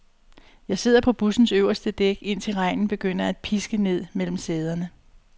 Jeg sidder på bussens øverste dæk, indtil regnen begynder at piske ned mellem sæderne.